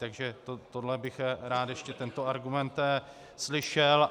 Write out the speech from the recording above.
Takže tohle bych rád, ještě tento argument, slyšel.